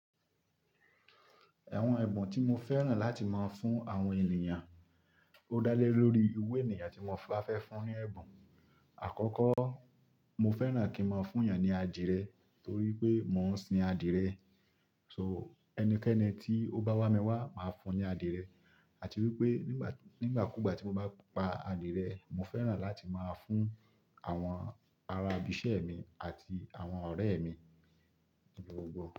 Ẹ̀wọ̀n ẹ̀bùn tí mo fẹ́ràn láti máa fún àwọn ènìyàn, ó dá lé lórí iwu ènìyàn tí mo ba fẹ́ fún ní ẹ̀bùn. Àkọ́kọ́, mo fẹ́ràn kí n máa fún eyàn ní adìrẹ, torí pé mò ń sin adìrẹ. Ẹnikẹ́ni tí ó bá wà mí wá, màá fún ní adìrẹ. Àti wípé nígbàkúgbà tí mo bá pa adìrẹ, mo fẹ́ràn láti máa fún àwọn ará ibí ìṣẹ́ mi àti àwọn ọ̀rẹ́ mi gbogbo.